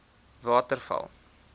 waterval